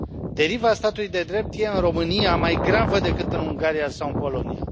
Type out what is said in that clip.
Deriva statului de drept este, în România, mai gravă decât în Ungaria sau în Polonia.